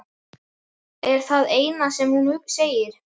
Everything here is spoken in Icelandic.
er það eina sem hún segir.